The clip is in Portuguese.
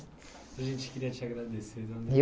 A gente queria te agradecer.